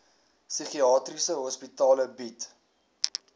psigiatriese hospitale bied